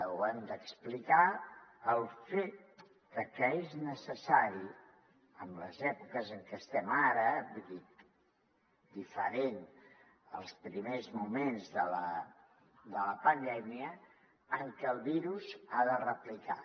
ho hem d’explicar de que és necessari en les èpoques en què estem ara vull dir diferent als primers moments de la pandèmia en què el virus ha de replicar